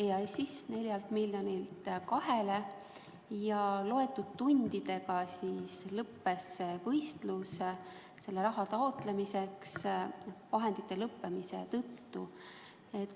Summa vähenes 4 miljonilt 2 miljonini ja loetud tundidega lõppes võistlus selle raha taotlemiseks vahendite lõppemise tõttu.